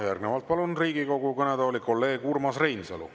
Järgnevalt palun Riigikogu kõnetooli kolleeg Urmas Reinsalu.